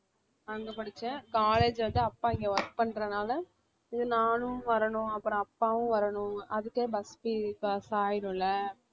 அங்க படிச்சேன் college வந்து அப்பா இங்க work பண்றதனால இதுநானும் வரணும் அப்புறம் அப்பாவும் வரணும் அதுக்கே bus fee காசு ஆயிடும் இல்ல